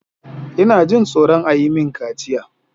Ina jin tsoron a yi mini kaciya.